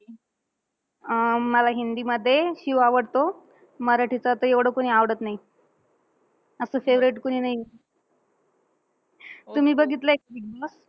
अं मला हिंदीमध्ये शिव आवडतो. मराठीचं तर एवढं कोणी आवडत नाही. असं favorite कोणी नाही. तुम्ही बघितलंय का बिगबॉस?